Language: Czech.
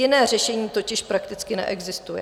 Jiné řešení totiž prakticky neexistuje.